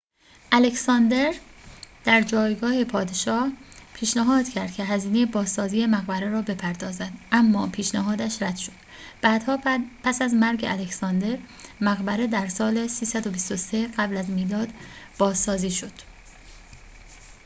الکساندر در جایگاه پادشاه پیشنهاد کرد که هزینه بازسازی مقبره را بپردازد اما پیشنهادش رد شد بعدها پس از مرگ الکساندر مقبره در سال ۳۲۳ قبل از میلاد بازسازی شد